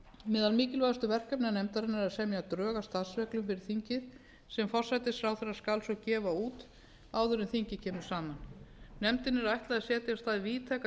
meðal mikilvægustu verkefna nefndarinnar er að semja drög að starfsreglum fyrir þingið sem forsætisráðherra skal svo gefa út áður en þingið kemur saman nefndinni er ætlað að setja af stað víðtæka